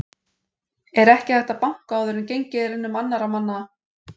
ER EKKI HÆGT AÐ BANKA ÁÐUR EN GENGIÐ ER UM ANNARRA MANNA